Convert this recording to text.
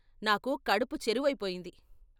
నాకు కడుపు చెరువయిపోయింది.